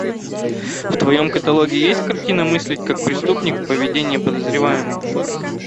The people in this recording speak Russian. в твоем каталоге есть картина мыслить как преступник поведение подозреваемого